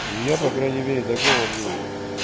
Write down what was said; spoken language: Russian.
ну я по крайней мере такого мнения